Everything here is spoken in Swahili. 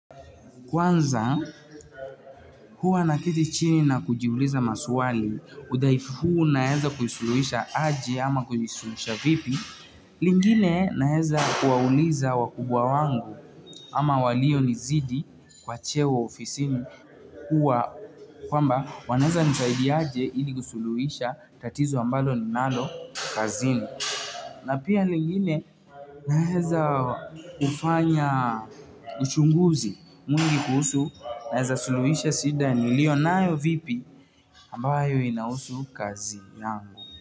Kwanza huwa naketi chini na kujiuliza maswali, udhaifu huu naweza kusuluhisha aje ama kusuluhisha vipi. Lingine naweza kuwauliza wakubwa wangu ama walio nizidi kwa cheo ofisini huwa kwamba wanaweza nisaidia aje ili kusuluhisha tatizo ambalo ni nalo kazini na pia lingine naweza ufanya uchunguzi mwingi kuhusu naweza suluhisha shida niliyo nayo vipi ambayo inahusu kazi yangu.